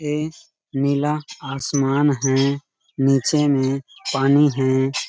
ये इस नीला आसमान है नीचे में पानी है